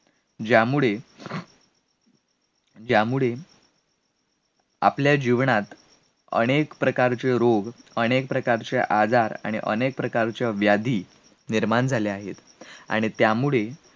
ज्यामुळ ज्यामुळे आपल्या जीवनात अनेक प्रकारचे रोग, अनेक प्रकारचा आजार आणि अनेक प्रकारच्या व्याधी निर्माण झाले आहेत आणि त्यामुळे,